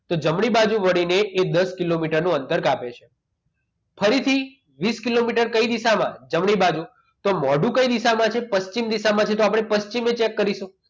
તો જમણી બાજુ વળીને એ દસ કિલોમીટરનું અંતર કાપે છે ફરીથી વીસ કિલોમીટર કઈ દિશામાં જમણી બાજુ તો મોઢું કઈ દિશામાં છે પશ્ચિમ દિશામાં છે તો આપણે પશ્ચિમ દિશા cheak કરીશું